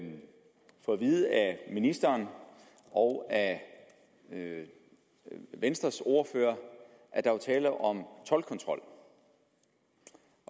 vide af ministeren og af venstres ordfører at der var tale om toldkontrol